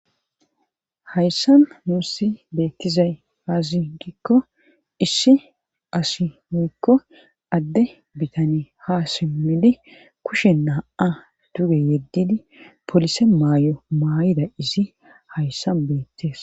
Hayssan nuussi beekkizay aazi giikko issi asi miikko adde bitani ha simmidi kushe naa7a duge yeddidi polise maay7o maay7ida izi hayssa beettes